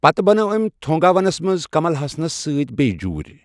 پتہٕ بنٲو أمۍ تھونگا ونمَس منٛز کمل ہسنَس سۭتۍ بیٚیہ جوٗرۍ۔